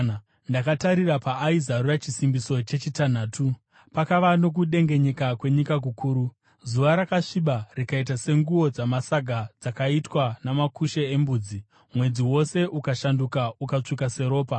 Ndakatarira paaizarura chisimbiso chechitanhatu. Pakava nokudengenyeka kwenyika kukuru. Zuva rakasviba rikaita senguo dzamasaga dzakaitwa namakushe embudzi, mwedzi wose ukashanduka ukatsvuka seropa,